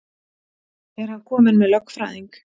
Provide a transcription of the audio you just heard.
Er hann kominn með lögfræðing?